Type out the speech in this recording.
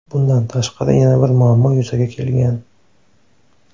Bundan tashqari yana bir muammo yuzaga kelgan.